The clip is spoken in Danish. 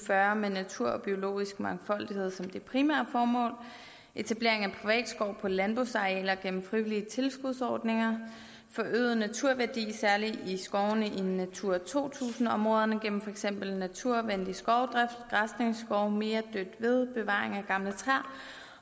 fyrre med natur og biologisk mangfoldighed som det primære formål etablering af privat skov på landbrugsarealer gennem frivillige tilskudsordninger forøget naturværdi særlig i skovene i natura to tusind områderne gennem for eksempel naturvenlig skovdrift græsningsskov mere dødt ved bevaring af gamle træer